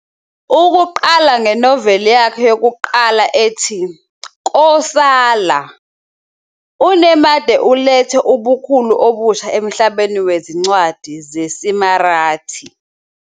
Ukuqala ngenoveli yakhe yokuqala ethi "Kosala", uNemade ulethe ubukhulu obusha emhlabeni wezincwadi zesiMarathi.